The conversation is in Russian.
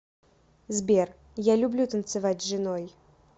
сбер я люблю танцевать с женой